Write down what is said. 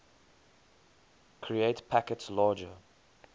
create packets larger